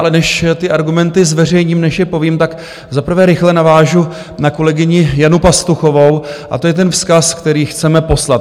Ale než ty argumenty zveřejním, než je povím, tak za prvé rychle navážu na kolegyni Janu Pastuchovou, a to je ten vzkaz, který chceme poslat.